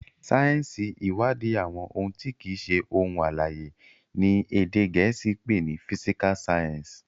sáyẹnsì iwadi àwọn òun ti kii ṣe ohun alãye, ní èdè gèésì pé ní "physical science".